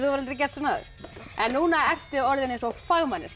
aldrei gert svona áður en núna ertu orðin eins og fagmanneskja